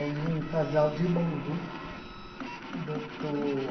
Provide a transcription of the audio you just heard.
Era de um casal de Bauru, doutor